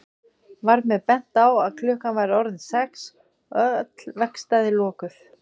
Var mér bent á að klukkan væri orðin sex og öll verkstæði lokuð.